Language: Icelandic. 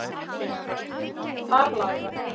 Þar læra